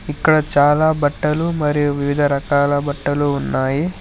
ఇక్కడ చాలా బట్టలు మరియు వివిధ రకాల బట్టలు ఉన్నాయి.